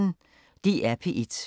DR P1